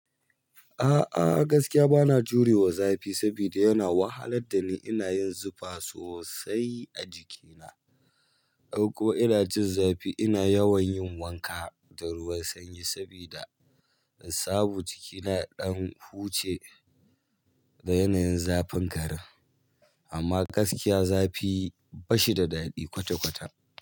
A'a gaskiya bana jurewa zafi sabida yana wahalar da ni, ina yin zufa sosai a jikina. Farko ina jin zafi ina yawan yin wanka da ruwan sanyi sabida in samu jikina yaɗan huce da yanayin zafin ƙarin. Amma gaskiya zafi bashi da daɗi kwata-kwata.